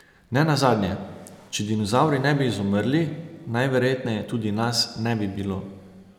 Ne nazadnje, če dinozavri ne bi izumrli, najverjetneje tudi nas ne bi bilo.